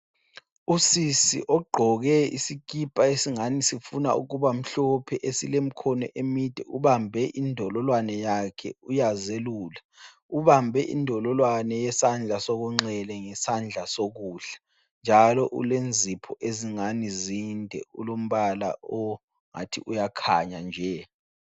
Usisi ogqoke isikipa esingani sifuna ukuba mhlophe esilemikhono emide ubambe indololwane yakhe uyazelula. Ubambe indololwane yesandla sokunxele ngesandla sokudla njalo ulenzipho ezingani zinde. Ulombala ongathi uyakhanya nje.